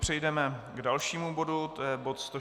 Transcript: Přejdeme k dalšímu bodu, to je bod